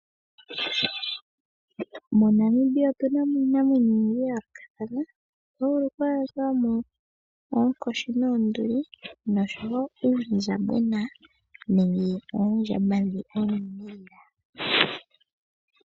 MoNamibia otuna mo iinamwenyo oyindji yayoolokathana oto vulu okwaadhamo oonkoshi noonduli noshowoo uundjambona noondjamba oonene.